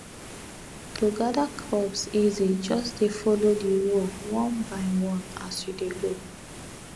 to gather crops easy just dey follow the row one by one as you dey go